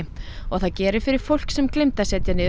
og það gerir fyrir fólk sem gleymdi að setja niður